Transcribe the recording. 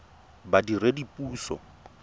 badiredipuso